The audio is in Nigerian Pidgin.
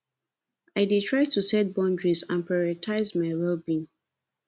i dey try to set boundaries and prioritize my wellbeing